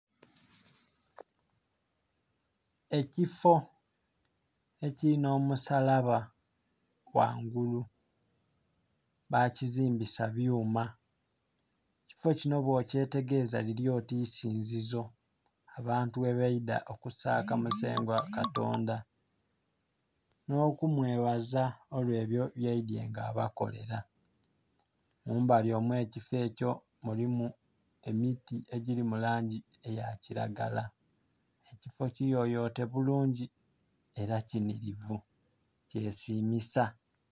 Ekifo ekili n'omusalaba ghangulu bakizimbisa byuma, ekifo kinho bwokyetegereza lili oti isinzizo, abantu ghe baidha okusaka musengwa katonda nh'okumwebaza olw'ebyo by'aidye nga abakolera. Mumbali omw'ekifo ekyo mulimu emiti egili mu langi eya kilagala. Ekifo kiyoyote bulungi era kinhilivu kyesimisa